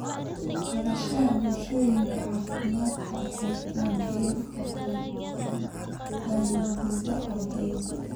Barashada bulshooyinka caafimaadka waxay taageeri kartaa fayoobida ardayga.